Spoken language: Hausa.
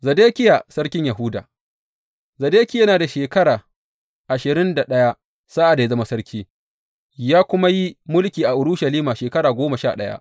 Zedekiya sarkin Yahuda Zedekiya yana da shekara ashirin da ɗaya sa’ad da ya zama sarki, ya kuma yi mulki a Urushalima shekara goma sha ɗaya.